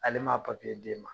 Ale ma a d'e ma